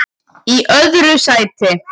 Í öðru sæti